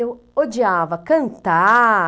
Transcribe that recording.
Eu odiava cantar.